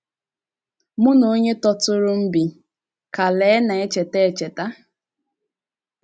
“ Mụ na onye tọtụrụ m bi, ” ka Lee na - echeta. - echeta.